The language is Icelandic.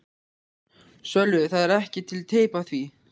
Sölvi: Það er ekki til teip af því?